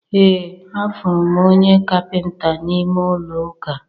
Ee, afụrụ m onye kapịnta n'ime ụlọ ụka